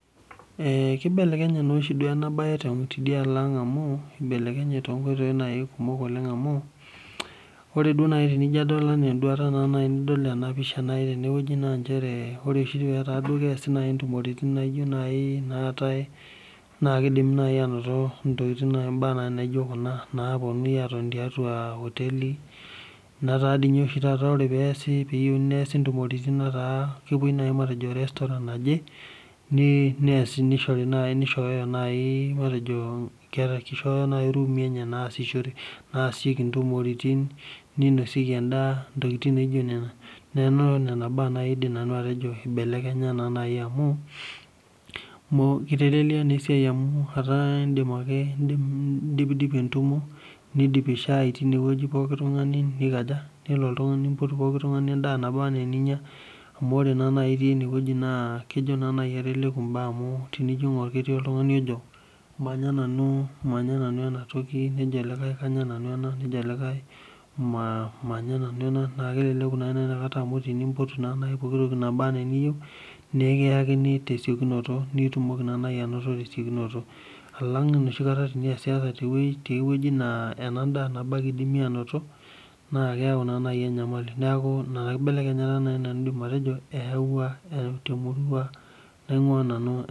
Kibelekenye naa oshi ena bae tidialo ang amu, eibelekenye naaji toonkoitoi kumok amu, ore naaji tinijo adol enaa enduata naaji tinidol ena pisha teneweji naa nchere ore pee eku keoshi naaji ntumoritin naijo naaji naatae, naa kidimi naaji anoto ntokiting, mbaa naijo kuna naponunui atoni tiatua oteli. Netaa dii ninye ore oshi taata pee eesi ntumoritin netaa kepuoi naaji [restaurant naje ,kishooyo naaji irumui enye naasishoreki ntumoritin ninosieki endaa, ntokiting naijo nena. Neeku nena baa naaji nanu aidim atejo eibelekenya amu, eitelelei naa esiai amu indipidipi entumo nidipi shaai tineweji pookitungani, nipoti pooki tungani endaa niyieu ninya, amu ore naa naji itii eneweji naa keleleku mbaa amu ketii oltungani ojo manya nanu enatoki ,nejo likae kanya nanu ena nejo likae kanya nanu ,nee keleleku naa ikata amu tenimpotu pooki toki naba enaa eniyieu naa ekiyakini tesiokinoto nitumoki naa naji naoto tesiokinoto. Alang enoshi niyasiyasa teweji nebo naa ena daa nabo ake eidimi anoto, naa keyau naa naji enyamali, neeku ina kibelekenyata naaji nanu aidim atejo ayaua temurua naingua nanu.